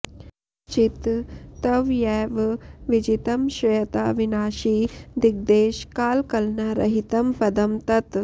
चित्त त्वयैव विजितं श्रयता विनाशि दिग्देश कालकलना रहितं पदं तत्